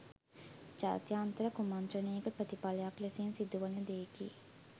ජාත්‍යන්තර කුමන්ත්‍රණයක ප්‍රතිඵලයක් ලෙසින් සිදුවන දෙයකි.